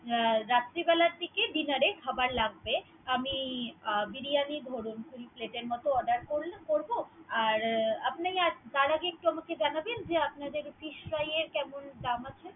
হ্যা রাত্রি বেলার দিকে dinner এ খাবার লাগবে। আমি বিরিয়ানী ধরুন full plate এর মতো order মত করব। আর আপনি । তার আগে একটু জানাবেন আপনাদের fish fry কেমন দাম আছে।